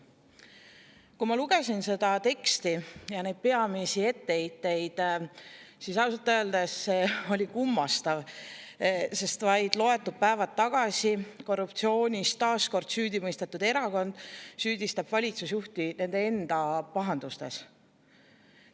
Kui ma lugesin seda teksti ja neid peamisi etteheiteid, siis ausalt öeldes see oli kummastav, sest vaid loetud päevad tagasi korruptsioonis taas kord süüdi mõistetud erakond süüdistab valitsusjuhti nende enda pahandustes.